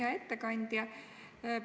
Hea ettekandja!